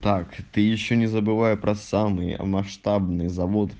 так ты ещё не забывай про самые масштабные завод